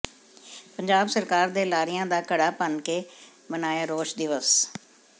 ਪੰਜਾਬ ਸਰਕਾਰ ਦੇ ਲਾਰਿਆਂ ਦਾ ਘੜ੍ਹਾ ਭੰਨ ਕੇ ਮਨਾਇਆ ਰੋਸ ਦਿਵਸ